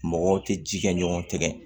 Mɔgɔw tɛ ji kɛ ɲɔgɔn tɛgɛ